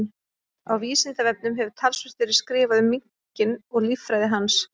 Á Vísindavefnum hefur talsvert verið skrifað um minkinn og líffræði hans.